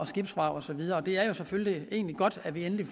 skibsvrag og så videre det er jo selvfølgelig egentlig godt at vi endelig